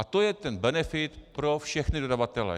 A to je ten benefit pro všechny dodavatele.